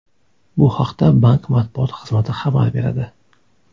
Bu haqda bank matbuot xizmati xabar beradi .